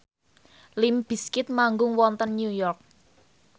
limp bizkit manggung wonten New York